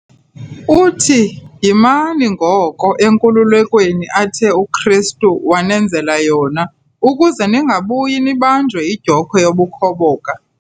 uthi, "Yimani ngoko enkululekweni athe uKristu wanenzela yona ukuze ningabuyi nibanjwe yidyokhwe yobukhoboka."